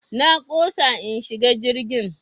Na ƙosa in shiga jirgin.